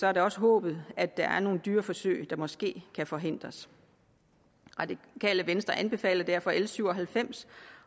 er det også håbet at der er nogle dyreforsøg der måske kan forhindres radikale venstre anbefaler derfor l syv og halvfems